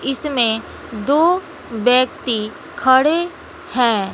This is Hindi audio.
इसमें दो व्यक्ति खड़े हैं।